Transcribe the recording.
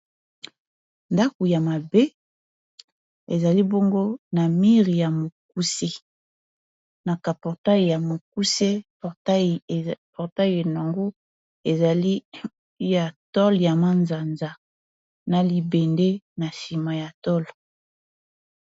Ndako ya mabe ezali bongo na mire ya mokuse na ka portail ya mokuse portail nango ezali ya tol ya manzanza na libende na nsima ya tol.